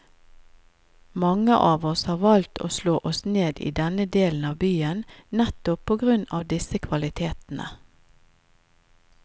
Mange av oss har valgt å slå oss ned i denne delen av byen nettopp på grunn av disse kvalitetene.